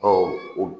Ɔ o